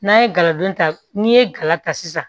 N'an ye galadon ta n'i ye gala ta sisan